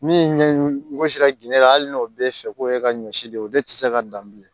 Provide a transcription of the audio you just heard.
Min ɲɛ gosi la ginɛ hali n'o bɛ fɛ ko e ka ɲɔ si de o de tɛ se ka dan bilen